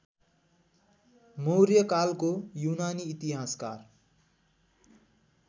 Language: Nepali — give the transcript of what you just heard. मौर्यकालको युनानी इतिहासकार